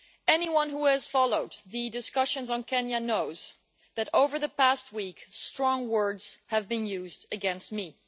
Anyone who has followed the discussions on Kenya knows that over the past week strong words have been used against me.